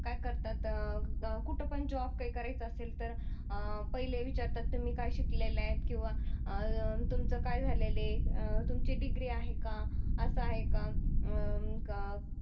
काय करतात अह कुठ पण जॉब काही करायचा असेल तर अह पहिले विचारतात तुम्ही काय शिकलेले आहे किंवा अह तुमच काय झालेलय अह तुमची डिग्री आहे का अस आहे का